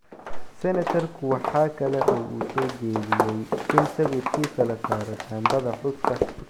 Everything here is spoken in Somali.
Senatarku waxa kale oo uu soo jeediyay in sawirkiisa la saaro shaambada xuska.